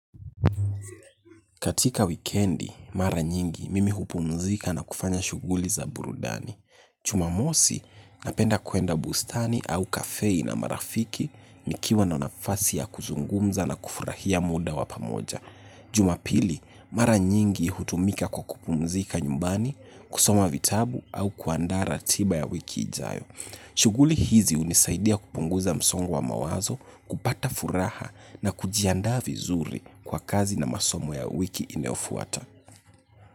Katika weekendi, mara nyingi mimi hupumzika na kufanya shughuli za burudani. Chumamosi napenda kuenda bustani au kafei na marafiki nikiwa na nafasi ya kuzungumza na kufurahia muda wapamoja. Jumapili, mara nyingi hutumika kwa kupumzika nyumbani, kusoma vitabu au kuandaa ratiba ya wiki ijayo. Shuguli hizi hunisaidia kupunguza msongo wa mawazo, kupata furaha na kujiandaa vizuri kwa kazi na masomo ya wiki inayofuata.